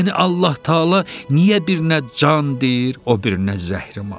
Yəni Allah-Təala niyə birinə can deyir, o birinə zəhri-mar?